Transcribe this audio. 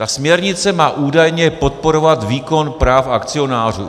Ta směrnice má údajně podporovat výkon práv akcionářů.